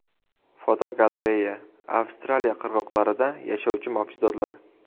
Fotogalereya: Avstraliya qirg‘oqlarida yashovchi mavjudotlar.